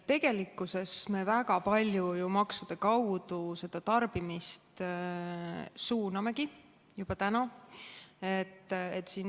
Tegelikkuses me suunamegi juba täna väga palju tarbimist ju maksude kaudu.